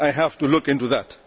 I have to look into that.